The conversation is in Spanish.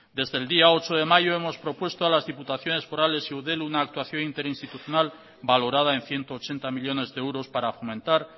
desde el día ocho de mayo hemos propuesto a las diputaciones forales y eudel una actuación interinstitucional valorada en ciento ochenta millónes de euros para fomentar